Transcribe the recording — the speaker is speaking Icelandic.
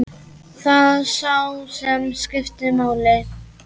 Sá það sem skipti máli.